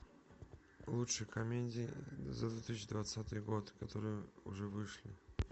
лучшие комедии за две тысячи двадцатый год которые уже вышли